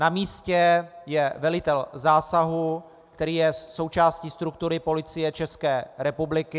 Na místě je velitel zásahu, který je součástí struktury Policie České republiky.